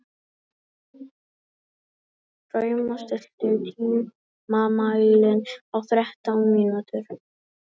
Drauma, stilltu tímamælinn á þrettán mínútur.